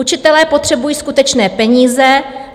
Učitelé potřebují skutečné peníze.